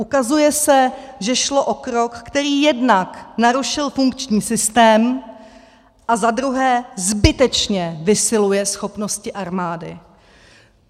Ukazuje se, že šlo o krok, který jednak narušil funkční systém a za druhé zbytečně vysiluje schopnosti armády.